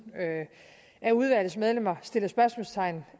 af udvalgets medlemmer stiller spørgsmålstegn